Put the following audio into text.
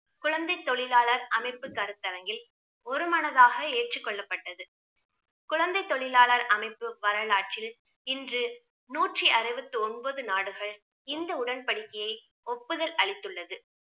குழந்தை தொழிலாளர் அமைப்பு கருத்தரங்கில் ஒருமனதாக ஏற்றுக் கொள்ளப்பட்டது. குழந்தை தொழிலாளர் அமைப்பு வரலாற்றில் இன்று நூற்றி அறுபத்து ஒன்பது நாடுகள் இந்த உடன்படிக்கையை ஒப்புதல் அளித்துள்ளது